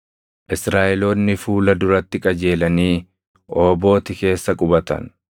Israaʼeloonni fuula duratti qajeelanii Oobooti keessa qubatan.